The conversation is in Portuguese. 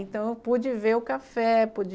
Então, eu pude ver o café, pude...